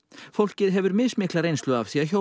fólkið hefur mismikla reynslu af því að hjóla